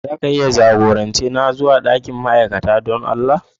Za ka iya jagorance ni zuwa dakin ma'aikata don Allah?